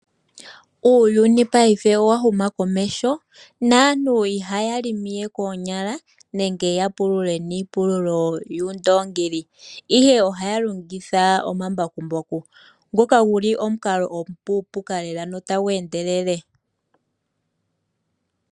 Uuyuni paife owa huma komeho, naantu ihaya pulula we koonyala, nenge ya pulule niipululo yuundongi, ihe ohaya longitha omambakumbaku. Nguka guli omukalo omupupuka lela notagu endelele.